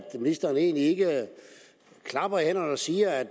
ministeren egentlig ikke klapper i hænderne og siger at